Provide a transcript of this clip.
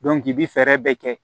i bi fɛɛrɛ bɛɛ kɛ